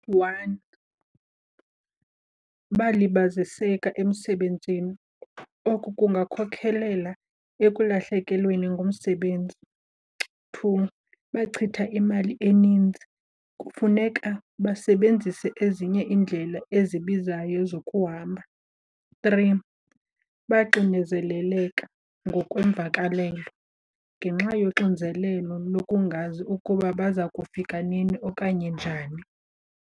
One, balibaziseka emsebenzini. Oku kungakhokhelela ekulahlekelweni ngumsebenzi. Two, bachitha imali eninzi kufuneka basebenzise ezinye iindlela ezibizayo zokuhamba. Three, baxinezeleleka ngokwemvakalelo ngenxa yoxinzelelo lokungazi ukuba baza kufika nini okanye njani.